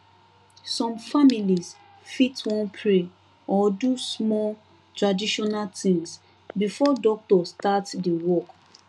some families fit wan pray or do small traditional thing before doctor start the work